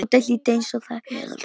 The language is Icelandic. Tóti hlýddi eins og þægur krakki.